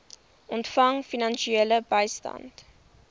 ontvang finansiële bystand